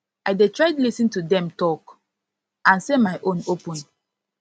i dey try lis ten to dem talk and say my own open